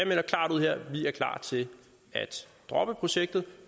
vi er klar til at droppe projektet